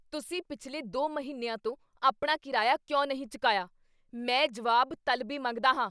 ਤੁਸੀਂ ਪਿਛਲੇ ਦੋ ਮਹੀਨਿਆਂ ਤੋਂ ਆਪਣੇ ਕਿਰਾਇਆ ਕਿਉਂ ਨਹੀਂ ਚਕਾਇਆ? ਮੈਂ ਜਵਾਬ ਤਲਬੀ ਮੰਗਦਾ ਹਾਂ